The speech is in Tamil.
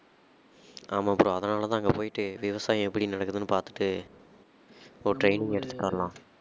ஆமாம் bro அதனால தான் அங்க போயிட்டு விவசாயம் எப்படி நடக்குதுன்னு பாத்துட்டு ஒரு training எடுத்துட்டு வரலாம்